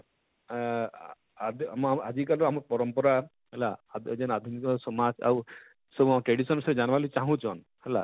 ଆଁ ଆଁ ଆଦି ମ ଆଜିକାଲି ଆମ ପରମ୍ପରା ହେଲା ହ ଯେନ ଆଧୁନିକ ସମାଜ ଆଉ ସବୁ tradition ଜାନବାର ଲାଗି ଚାହୁଁଛନ ହେଲା